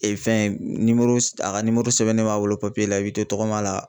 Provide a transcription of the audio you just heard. fɛn a ka sɛbɛnnen b'a bolo la i bj to tagama la